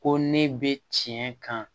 Ko ne bɛ tiɲɛ kan